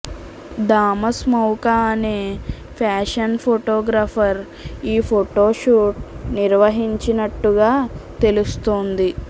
Thomas Mauka అనే fashion photographer ఈ photo shoot నిర్వహించినట్టుగా తెలుస్తోంది